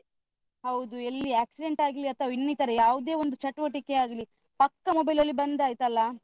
ಹೌದು ಎಲ್ಲಿ accident ಆಗ್ಲಿ ಅಥವಾ ಇನ್ನಿತರ ಯಾವ್ದೆ ಒಂದು ಚಟುವಟಿಕೆ ಆಗ್ಲಿ, ಪಕ್ಕ mobile ನಲ್ಲಿ ಬಂದ್ ಆಯ್ತಲ್ಲಾ?